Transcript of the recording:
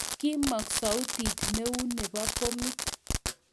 Kimo'ng sautit neu nebo bomit